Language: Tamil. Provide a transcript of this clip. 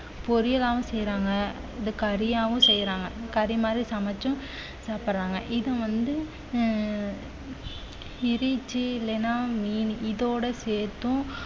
பொரியலாவும் செய்யறாங்க இத கரியாவும் செய்யறாங்க கறி மாதிரி சமைச்சும் சாப்பிடறாங்க இது வந்து உம் இல்லைன்னா மீன் இதோட சேர்த்தும்